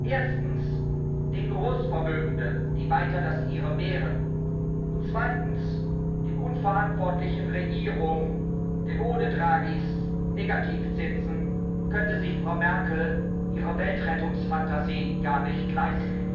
Erstens den Großvermögenden, die weiter das Ihre mehren, und zweitens den unverantwortlichen Regierungen, denn ohne Draghis Negativzinsen könnte sich Frau Merkel ihre Weltrettungsfantasien gar nicht leisten.